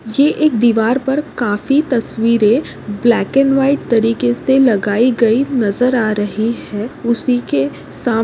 ये एक दीवार पर काफी तस्वीरे ब्लॅक अँड व्हाइट तरीके से लगाई गयी नजर आ रही है उसिके साम--